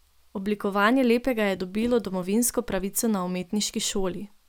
Oblikovanje lepega je dobilo domovinsko pravico na umetniški šoli.